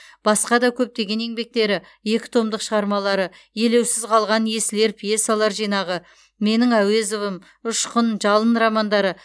басқа да көптеген еңбектері екі томдық шығармалары елеусіз қалған есіл ер пьесалар жинағы менің әуезовым ұшқын жалын романдары